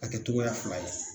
A kɛcogoya fila ye